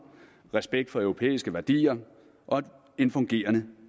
respekt for europæiske værdier og en fungerende